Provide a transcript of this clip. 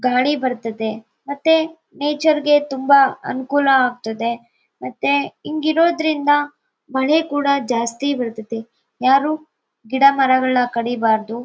ಗಾಳಿ ಬರ್ತದೆ ಮತ್ತೆ ನೇಚರ್ ಗೆ ತುಂಬಾ ಅನುಕೂಲ ಆಗ್ತಾದೆ ಮತ್ತೆ ಹಿಂಗಿರೋದ್ರಿಂದ ಮಳೆ ಕೂಡ ಜಾಸ್ತಿ ಬರ್ತದೆ ಯಾರು ಗಿಡ ಮರ ಕಡೀಬಾರ್ದು.